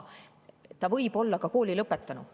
Ta võib olla ka kooli lõpetanud.